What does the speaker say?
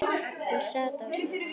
Hún sat á sér.